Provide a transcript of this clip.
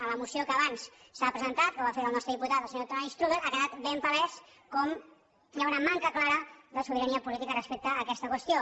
en la moció que abans s’ha presentat que ho ha fet el nostre diputat senyor antoni strubell ha quedat ben palès com hi ha una manca clara de sobirania política respecte a aquesta qüestió